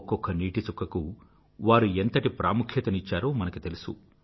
ఒక్కొక్క నీటి చుక్కకూ వారు ఎంతటి ప్రాముఖ్యతనిచ్చారో మనకు తెలుసు